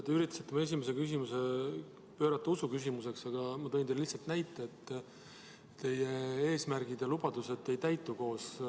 Te üritasite mu esimese küsimuse pöörata usuküsimuseks, aga ma tõin teile lihtsalt näite, et teie ja maaeluministri eesmärgid ja lubadused ei täitu.